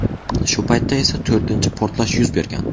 Shu paytda esa to‘rtinchi portlash yuz bergan.